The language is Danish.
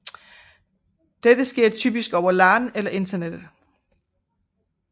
Dette sker typisk over LAN eller internettet